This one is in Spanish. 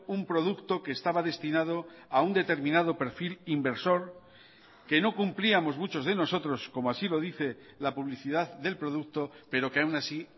un producto que estaba destinado a un determinado perfil inversor que no cumplíamos muchos de nosotros como así lo dice la publicidad del producto pero que aún así